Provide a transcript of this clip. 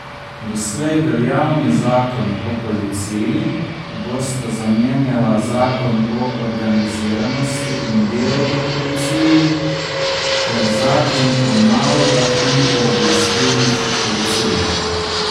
Doslej veljavni zakon o policiji bosta zamenjala zakon o organiziranosti in delu v policiji ter zakon o nalogah in pooblastilih policije.